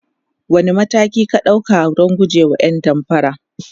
wani mataki ka ɗauka Dan gujewa ƴan damfara?